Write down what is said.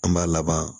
An b'a laban